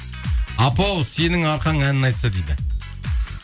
апа ау сенің арқаң әнін айтса дейді